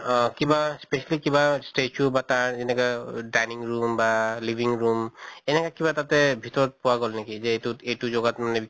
অহ কিবা specially কিবা statue বা তাৰ যেনেকা অহ dining room বা living room এনেকা কিবা তাতে ভিতৰত পোৱা গʼল নেকি যে এইটোত এইটো জগাত মানে